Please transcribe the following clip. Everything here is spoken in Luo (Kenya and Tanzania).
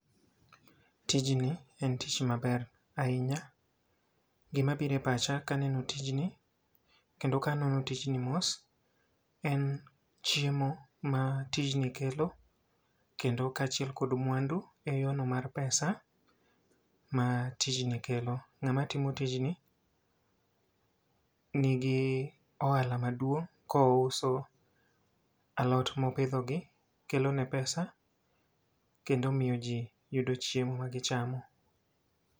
Tijni en tich maber ahinya, gima bire pacha kaneno tijni kendo kanono tijni mos. En chiemo ma tijni kelo kendo kaachiel kod mwandu e yo no mar pesa ma tijni kelo. N'gama timo tijni nigi oala maduong' kouso alot mopidho gi, kelo ne pesa kendo miyo ji yudo chiemo ma gichamo.